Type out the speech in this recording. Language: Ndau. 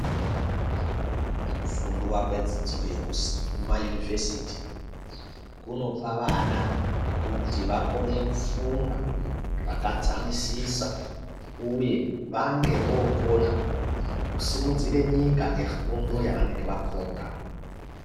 Kufundwa kwedzidzo yekumayunivhesiti kunopa vana kuti vakone kufunga zvakadzamisisa uye vange vookona kusumudzire nyika ngefundo yavanenge vafunda.